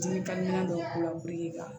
Dimi dɔw k'u la